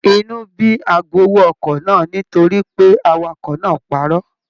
Inú bí agbowó ọkọ̀ náà nítorí pé awakọ̀ náà parọ́.